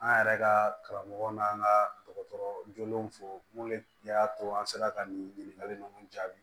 An yɛrɛ ka karamɔgɔ n'an ka dɔgɔtɔrɔ jolenw fo munnu y'a to an sera ka nin ɲininkali ninnu jaabi